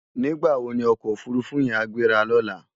Nigbá wó ni òkò ófúrúfú yèn á gbérá lòlá?